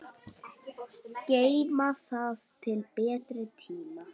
Geyma það til betri tíma.